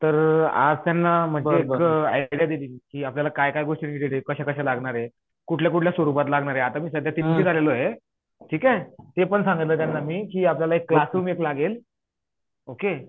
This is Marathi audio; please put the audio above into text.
तर आज त्यांना म्हणजे ते इतक आपल्या काय काय गोष्टी कश्या कश्या लागणार कुठल्या कुठल्या स्वरुपात लागणार आहे आता मी सध्या तितेच आलेलो आहे ठीक हे ते पण सागितलं त्यांना मी कि आपल्याला एक क्लासरूम एक लागेल ओके